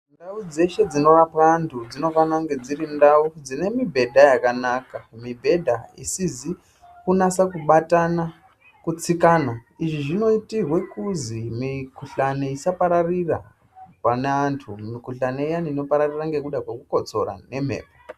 Ndau dzeshe dzinorapwa andu dzinofana kunge dziri ndau dzinemibhedha yakanaka mibhedha isizi kunasa kubatana kutsikana izvi zvinoitirwe kuzi mikuhlani isapararira pane antu mikuhlani iyani inopararira ngekuda kwekukotsora nemhepo